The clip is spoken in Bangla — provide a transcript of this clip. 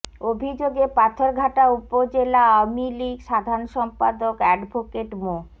অভিযোগে পাথরঘাটা উপজেলা আওয়ামী লীগ সাধারণ সম্পাদক অ্যাডভোকেট মো